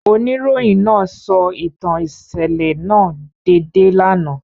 Onirohin naa sọ itan iṣẹlẹ naa deede lana.